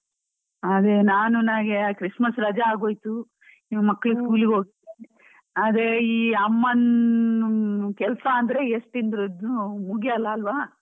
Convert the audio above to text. ಅದೇ ನಾನು ನನಗೆ Christmas ರಜಾ ಆಗೋಯ್ತು, ಈಗ ಮಕ್ಕಳು school ಗೆ ಹೋಗಿ ಅದೇ ಈ. ಅಮ್ಮನ್ ಕೆಲಸ ಅಂದ್ರೆ, ಎಷ್ಟಿದ್ರೂನು ಮುಗ್ಯಲ್ಲ ಅಲ್ವ.